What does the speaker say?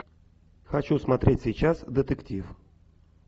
хочу смотреть сейчас детектив